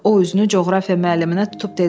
O üzünü coğrafiya müəlliminə tutub dedi: